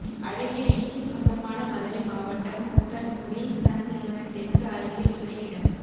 அழகிரிக்கு சொந்தமான மதுரை மாவட்டம் உத்தங்குடி சன் நிறுவனத்திற்க்கு அருகில் உள்ள இடம்